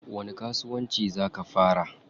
Wani kasuwanci zaa ka fara?